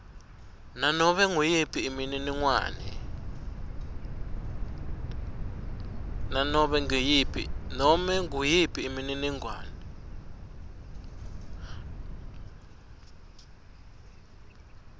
nobe nguyiphi imininingwane